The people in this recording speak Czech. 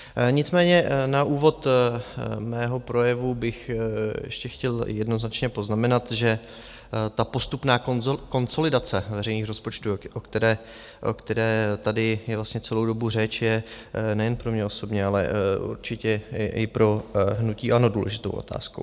Nicméně na úvod svého projevu bych ještě chtěl jednoznačně poznamenat, že ta postupná konsolidace veřejných rozpočtů, o které tady je vlastně celou dobu řeč, je nejen pro mě osobně, ale určitě i pro hnutí ANO důležitou otázkou.